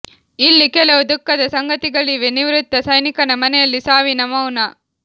ಇಲ್ಲಿ ಕೆಲವು ದುಃಖದ ಸಂಗತಿಗಳಿವೆ ನಿವೃತ್ತ ಸೈನಿಕನ ಮನೆಯಲ್ಲಿ ಸಾವಿನ ಮೌನ